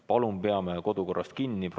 Palun peame kodukorrast kinni!